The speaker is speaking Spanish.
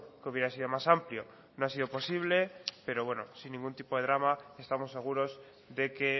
que hubiera sido más amplio no ha sido posible pero bueno sin ningún tipo de drama estamos seguros de que